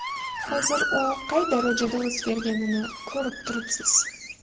Hozir u qay darajada o‘zgarganini ko‘rib turibsiz.